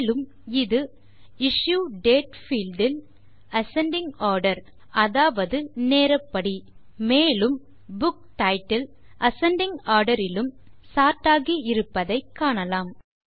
மேலும் இது issue date field இல் அசெண்டிங் ஆர்டர் அதாவது நேரப்படி மேலும் புக் டைட்டில் அசெண்டிங் ஆர்டர் இலும் சோர்ட் ஆகி இருப்பதையும் காணலாம்